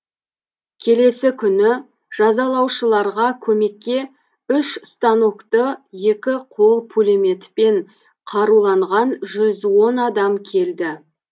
келесі күні жазалаушыларға көмекке үш станокты екі қол пулеметпен қаруланған жүз он адам келді